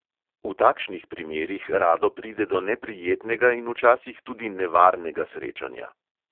V takšnih primerih rado pride do neprijetnega in včasih tudi nevarnega srečanja.